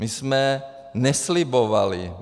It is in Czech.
My jsme neslibovali.